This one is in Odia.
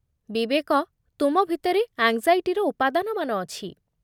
ବିବେକ, ତୁମ ଭିତରେ ଆଙ୍ଗ୍‌ଜାଇଟିର ଉପାଦାନମାନ ଅଛି।